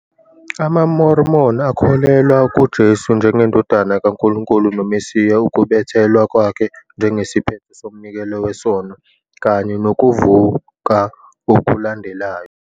AmaMormon akholelwa kuJesu Kristu njengeNdodana kaNkulunkulu noMesiya, ukubethelwa kwakhe njengesiphetho somnikelo wesono, kanye nokuvuka okulandelayo.